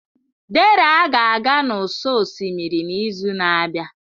Dera ga-aga n'ụsọ osimiri n'izu na-abịa.